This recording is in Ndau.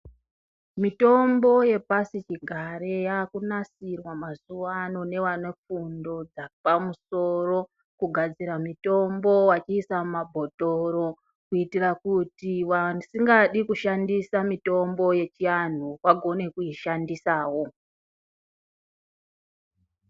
Mitombo yepasichigare yaakunasirwa mazuwaano nevanefundo dzapamusoro, kugadzira mitombo vachiisa mumabhothoro, kuitira kuti vasingadi kushandisa mitombo yechiantu vagone kuishandisawo.